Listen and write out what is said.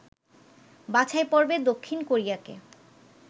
বাছাই পর্বে দক্ষিণ কোরিয়াকে